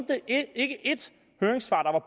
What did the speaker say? høringspart